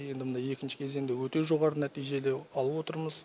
енді мына екінші кезеңде өте жоғары нәтижелер алып отырмыз